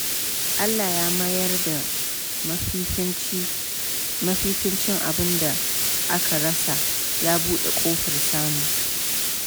Allah ya mayar da mafificin abinda aka rasa, ya buɗe kofar samu.